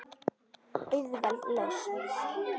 Auðveld lausn.